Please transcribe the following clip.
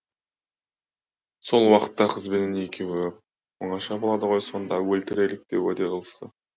сол уақытта қызбенен екеуі оңаша болады ғой сонда өлтірелік деп уәде қылысты